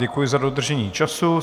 Děkuji za dodržení času.